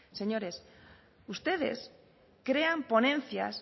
señores ustedes crean ponencias